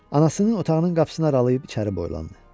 Anasının otağının qapısını aralayıb içəri boylandı.